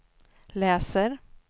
läser